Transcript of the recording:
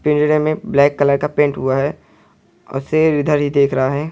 पिंजरे में black colour का पेंट हुआ है और शेर इधर ही देख रहा है।